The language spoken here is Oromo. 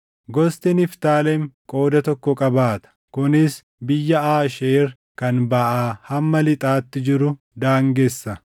Gosti Niftaalem qooda tokko qabaata; kunis biyya Aasheer kan baʼaa hamma lixaatti jiru daangessa.